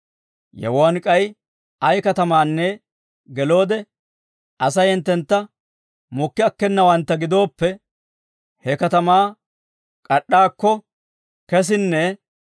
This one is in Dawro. Yewuwaan k'ay ay katamaanne geloode, Asay hinttentta mokki akkenawantta gidooppe he katamaa k'ad'd'aakko kesinnee,